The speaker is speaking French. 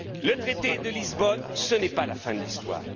de Lisbonne. Le traité de Lisbonne, ce n'est pas la fin de